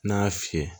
N'a y'a fiyɛ